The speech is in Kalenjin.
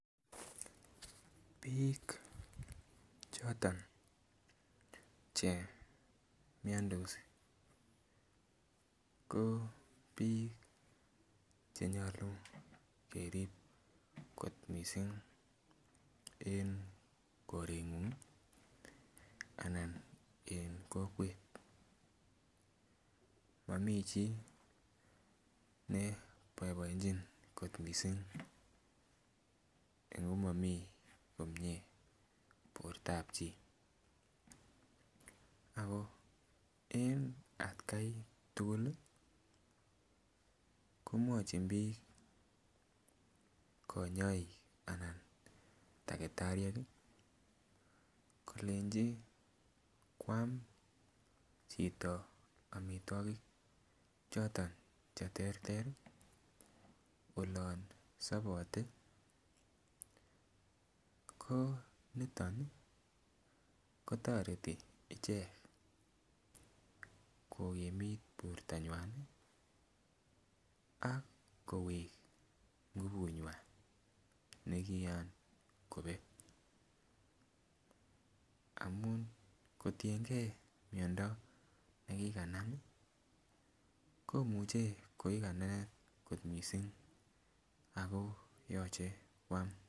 Biik choton che miondos ko biik chenyolu kerib kot missing en koretnyun ih en kokwet momii chii ne boiboenjin kot missing ngo momii komie bortab chi ako en atkai tugul ih komwochin biik konyoik anan takitariek ih kolenji koam chito amitwogik choton cheterter ih olon sobote ko niton ih kotoreti ichek kokimit bortonywan ih ak kowek ngubut nywan nekian kobet amun kotiengee miondo nekikanam ih komuche kokikanenet kot missing ako yoche koam